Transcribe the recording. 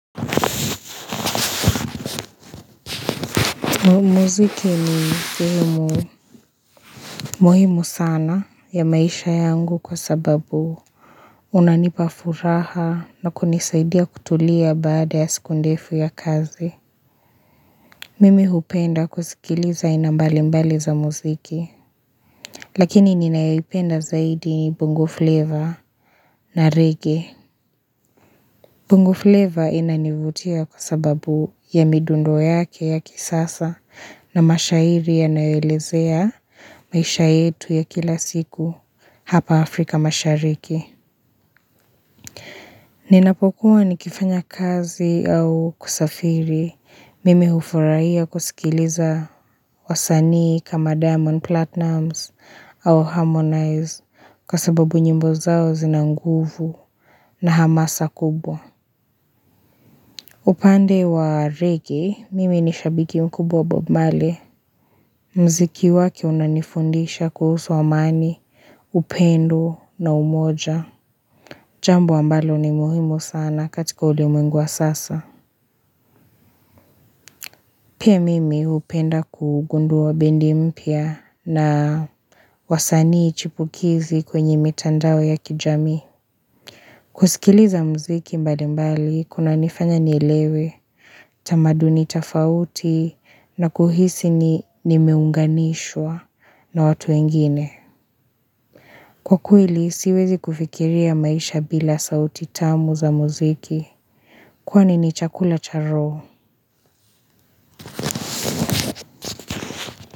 Muziki ni muhimu sana ya maisha yangu kwa sababu unanipafuraha na kunisaidia kutulia baada ya siku ndefu ya kazi. Mimi hupenda kuzikiliza ainambalimbali za muziki, lakini ninayoipenda zaidi bongo flavor na reggae. Bungu flavor inanivutia kwa sababu ya midundo yake ya kisasa na mashairi yanayoelezea maisha yetu ya kila siku hapa Afrika mashariki. Ninapokuwa ni kifanya kazi au kusafiri mimi hufuraia kusikiliza wasanii kama diamond platnums au harmonize kwa sababu nyimbo zao zinanguvu na hamasa kubwa. Upande wa reggae, mimi ni shabiki mkubwa wa bob marley. Mziki wake unanifundisha kuhusu amani, upendo na umoja. Jambo ambalo ni muhimu sana katika ulimwengu wa sasa. Pia mimi upenda kugundua bendi mpya na wasanii chipukizi kwenye mitandao ya kijamii. Kusikiliza mziki mbali mbali, kunanifanya nielewe, tamaduni tafauti na kuhisi ni nimeunganishwa na watu wengine. Kwa kweili, siwezi kufikiria maisha bila sauti tamu za mziki, kwani ni chakula cha roho.